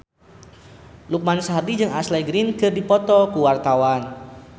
Lukman Sardi jeung Ashley Greene keur dipoto ku wartawan